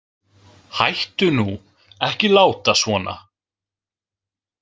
Hættu nú, ekki láta svona